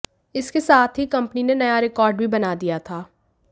इसके साथ ही कंपनी ने नया रिकॉर्ड भी बना दिया था